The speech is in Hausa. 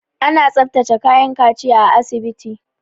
Ana tsaftace kayan kaciya a asibiti.